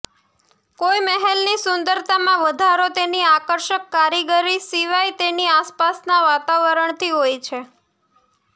કોઇ મહેલની સુંદરતામાં વધારો તેની આકર્ષક કારીગરી સિવાય તેની આસપાસના વાતાવરણથી હોય છે